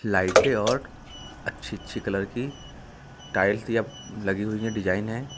लाइटें और अच्छी अच्छी कलर की टाइल्स लगी हुई है डिजाइन है।